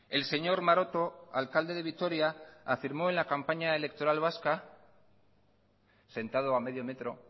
el señor maroto alcalde de vitoria afirmó en la campaña electoral vasca sentado a medio metro